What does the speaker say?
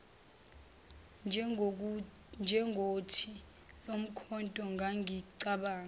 njengothi lomkhonto ngangicabanga